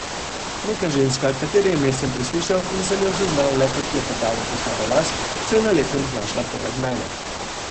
Neka ženska, katere ime sem preslišal in sem jo zaznal le kot klepetavo košaro las, se je na lepem znašla poleg mene.